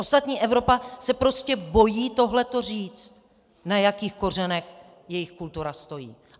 Ostatní Evropa se prostě bojí tohleto říct, na jakých kořenech její kultura stojí.